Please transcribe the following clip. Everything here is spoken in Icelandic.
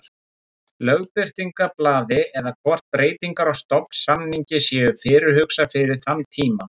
Lögbirtingablaði eða hvort breytingar á stofnsamningi séu fyrirhugaðar fyrir þann tíma.